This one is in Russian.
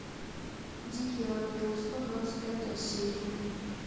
дикий ангел сто двадцать пятая серия